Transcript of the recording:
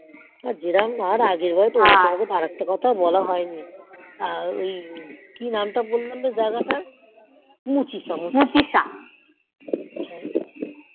হন আর জেরোম বার তোমাকে আর একটা কোথাও বলা হয়নি আহ ওই কি নাম তা বললাম জায়গা তার মুচঁশ